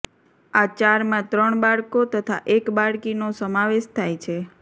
આ ચારમાં ત્રણ બાળકો તથા એક બાળકીનો સમાવેશ થાય છે